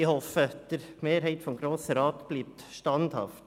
Ich hoffe, die Mehrheit des Grossen Rats bleibe standhaft.